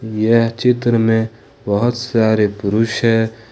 यह चित्र में बहुत सारे पुरुष है।